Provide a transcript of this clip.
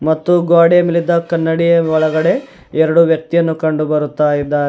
ಮತ್ತು ಗ್ವಾಡೆ ಮೇಲಿದ್ದ ಕನ್ನಡಿಯ ಒಳಗಡೆ ಎರಡು ವ್ಯಕ್ತಿಯನ್ನು ಕಂಡು ಬರುತ್ತಾ ಇದ್ದಾರೆ.